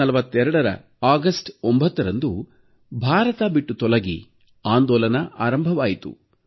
1942ರ August 9ರಂದು ಭಾರತ ಬಿಟ್ಟು ತೊಲಗಿ ಆಂದೋಲನ ಆರಂಭವಾಯಿತು